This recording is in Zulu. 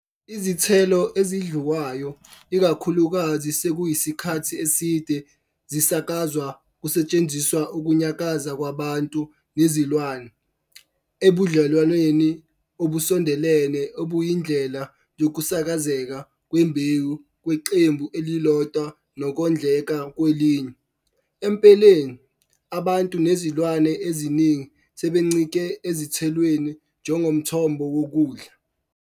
Izithelo ezidliwayo ikakhulukazi sekuyisikhathi eside zisakazwa kusetshenziswa ukunyakaza kwabantu nezilwane ebudlelwaneni obusondelene obuyindlela yokusakazeka kwembewu kweqembu elilodwa nokondleka kwelinye, empeleni, abantu nezilwane eziningi sebencike ezithelweni njengomthombo wokudla.